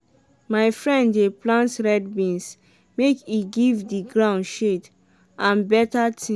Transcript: my friend dey plant red beans make e give de gound shade and beta tins.